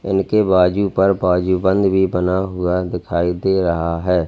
इनके बाजू पर बाजूबंद भी बना हुआ दिखाई दे रहा है।